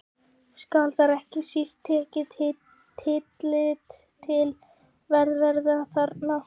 Skal þar ekki síst tekið tillit til velferðar barna.